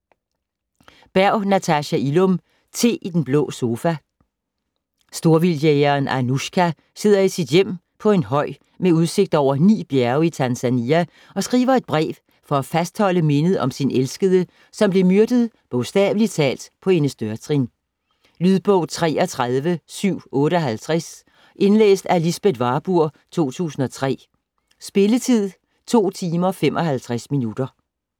Berg, Natasha Illum: Te i den blå sofa Storvildtjægeren Anoushka sidder i sit hjem på en høj med udsigt over ni bjerge i Tanzania og skriver et brev for at fastholde mindet om sin elskede, som blev myrdet bogstavelig talt på hendes dørtrin. Lydbog 33758 Indlæst af Lisbeth Warburg, 2003. Spilletid: 2 timer, 55 minutter.